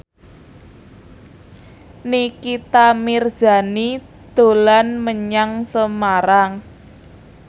Nikita Mirzani dolan menyang Semarang